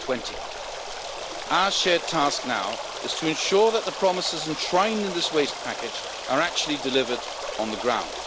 2020. Our shared task now is to ensure that the promises enshrined in this Waste Package are actually delivered on the ground.